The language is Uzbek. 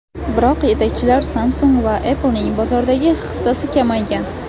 Biroq yetakchilar Samsung va Apple’ning bozordagi hissasi kamaygan.